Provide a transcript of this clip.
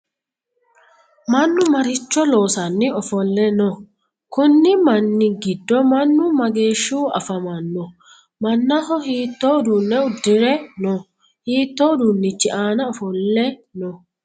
Mannu maricho loosiranni ofole no? Konni minni gido mannu mageeshihu afammanno? Mannaho hiitoo uduune udire no? Hiitoo uduunichi aanna ofole no.